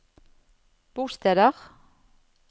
bosteder